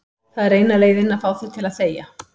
Það er eina leiðin til að fá þig til að þegja.